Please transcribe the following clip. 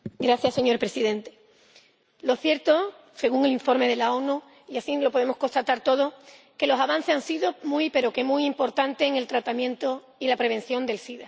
Señor Presidente, lo cierto, según el informe de las Naciones Unidas y así lo podemos constatar todos, es que los avances han sido muy pero que muy importantes en el tratamiento y la prevención del sida.